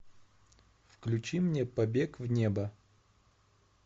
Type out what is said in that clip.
включи мне побег в небо